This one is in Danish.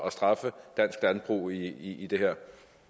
at straffe dansk landbrug i i det her